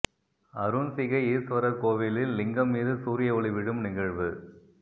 அருஞ்சிகை ஈஸ்வரர் கோவிலில் லிங்கம் மீது சூரிய ஒளி விழும் நிகழ்வு